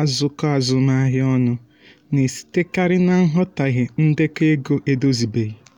azụkọ azụmahịa ọnụ na-esitekarị na nghọtahie ndekọ ego edozibeghị.